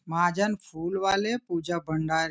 महाजन फूल वाले पूजा भंडार --